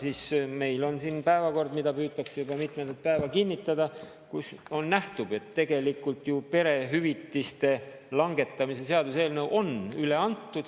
Aga meil on siin päevakord, mida püütakse juba mitmendat päeva kinnitada ja kust nähtub, et tegelikult ju perehüvitiste langetamise seaduseelnõu on üle antud.